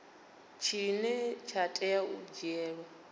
tshine tsha tea u dzhielwa